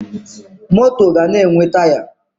Moto ga na-enwe Taya